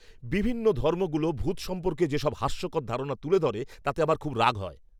বিভিন্ন ধর্মগুলো ভূত সম্পর্কে যেসব হাস্যকর ধারণা তুলে ধরে তাতে আমার খুব রাগ হয়।